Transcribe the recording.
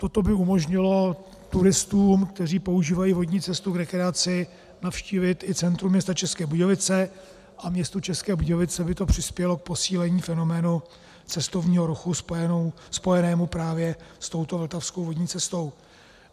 Toto by umožnilo turistům, kteří používají vodní cestu k rekreaci, navštívit i centrum města České Budějovice a městu České Budějovice by to přispělo k posílení fenoménu cestovního ruchu spojenému právě s touto vltavskou vodní cestou.